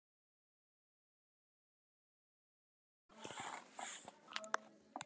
Dynja, hvenær kemur leið númer tvö?